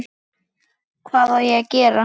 Hvað á gera?